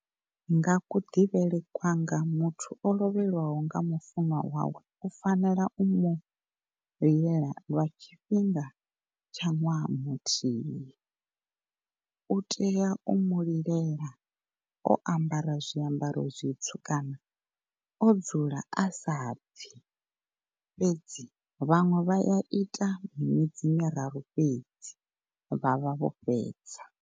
Nga ku ḓivhele kwanga muthu o lovhelwaho nga mufunwa wawe u fanela u mu lilela lwa tshifhinga tsha ṅwaha muthihi u tea u mu lilela o ambara zwiambaro zwitsu kana o dzula asabvi fhedzi vhaṅwe vha ya ita miṅwedzi miraru fhedzi vha vha vho fhedza.